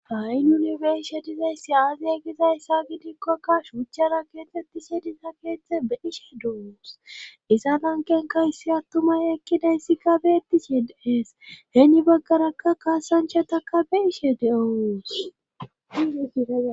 hayinunubeishe dizayssi aaziya giza ssa gidikkokka shuuchchara keettettishe diza keeththe be ishe do7os isa nankenkayssi attumay ekkidayssi kabe etishe deees heeni bagganaka kaasanchataka be ishe de7oos